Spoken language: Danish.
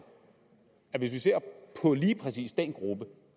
at hvis vi ser på lige præcis den gruppe